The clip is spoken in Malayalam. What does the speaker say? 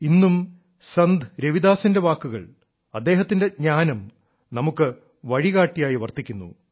ഇന്നും സന്ത് രവിദാസിന്റെ വാക്കുകൾ അദ്ദേഹത്തിന്റെ ജ്ഞാനം നമുക്ക് വഴികാട്ടിയായി വർത്തിക്കുന്നു